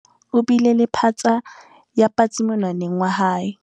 o bile le phatsa ya patsi monwaneng wa hae